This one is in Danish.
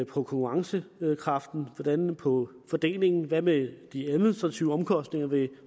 konkurrencekraften hvordan virker det på fordelingen og hvad med de administrative omkostninger ved